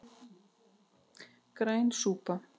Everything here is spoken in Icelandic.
Græn súpa